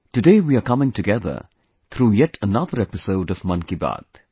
Today we are coming together through yet another episode of 'Mann Ki Baat'